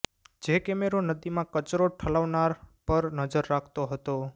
જે કેમેરો નદીમાં કચરો ઠાલવનાર પર નજર રાખતો હતો